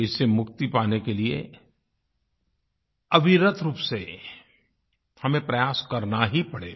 इससे मुक्ति पाने के लिये अविरत रूप से हमें प्रयास करना ही पड़ेगा